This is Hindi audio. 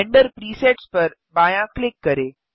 रेंडर प्रीसेट्स पर बायाँ क्लिक करें